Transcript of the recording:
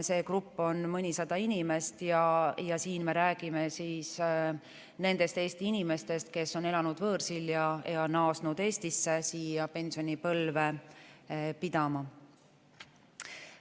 See grupp on mõnisada inimest ja siin me räägime nendest Eesti inimestest, kes on elanud võõrsil ja naasnud Eestisse pensionipõlve pidama.